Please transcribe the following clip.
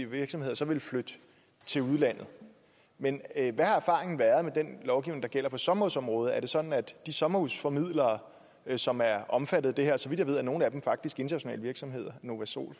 virksomheder så ville flytte til udlandet men hvad har erfaringen været med den lovgivning der gælder på sommerhusområdet er det sådan at de sommerhusformidlere som er omfattet af det her og så vidt jeg ved er nogle af dem faktisk internationale virksomheder novasol